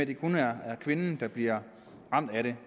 det kun er kvinden der bliver ramt af det